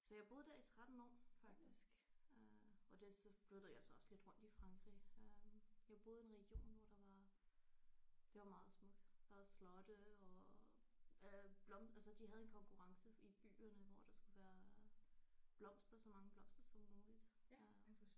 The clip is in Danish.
Så jeg boede der i 13 år faktisk øh og det så flyttede jeg så også lidt rundt i Frankrig øh jeg boede i en region hvor der var der var meget smukt. Der var slotte og øh altså de havde en konkurrence i byerne hvor der skulle være blomster så mange blomster som muligt øh